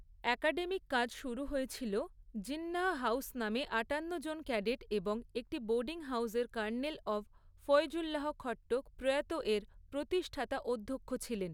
Academic কাজ শুরু হয়েছিল জিন্নাহ হাউস নামে আটান্ন জন ক্যাডেট এবং একটি বোর্ডিং হাউসের কর্নেল অবঃ ফয়জুল্লাহ খট্টক প্রয়াত এর প্রতিষ্ঠাতা অধ্যক্ষ ছিলেন।